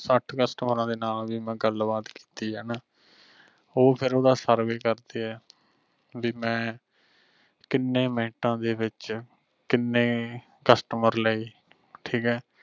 ਸੱਠ ਕਸਟਮਰਾਂ ਦੇ ਨਾਲ ਵੀ ਮੈਂ ਗੱਲਬਾਤ ਕੀਤੀ ਆ ਹਣਾ ਉਹ ਫਿਰ ਓਹਦਾ ਸਰਵੇ ਕਰਦੇ ਆ ਵੀ ਮੈਂ ਕਿਨੇਂ ਮਿੰਟਾ ਦੇ ਵਿਚ ਕਿੰਨੇ customer ਲਏ ਠੀਕ ਹੈ।